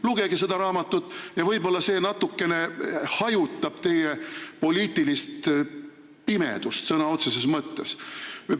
Lugege seda raamatut ja võib-olla see natukene hajutab teie poliitilist pimedust sõna otseses mõttes.